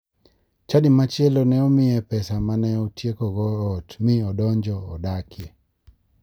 Chadi machielo ne omiye pesa mane otiekogo ot mi odonjo dakie.